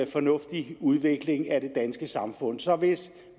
fornuftig udvikling af det danske samfund så hvis